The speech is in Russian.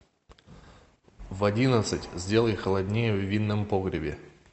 в одиннадцать сделай холоднее в винном погребе